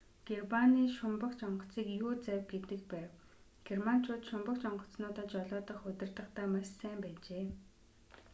германы шумбагч онгоцыг u-завь гэдэг байв. германчууд шумбагч онгоцнуудаа жолоодох удирдахдаа маш сайн байжээ